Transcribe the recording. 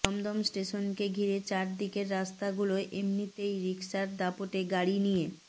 দমদম স্টেশনকে ঘিরে চার দিকের রাস্তাগুলোয় এমনিতেই রিকশার দাপটে গাড়ি নিয়ে